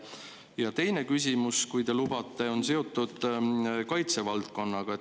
Ja teine küsimus, kui te lubate, on seotud kaitsevaldkonnaga.